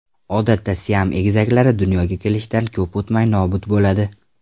Odatda Siam egizaklari dunyoga kelishidan ko‘p o‘tmay nobud bo‘ladi.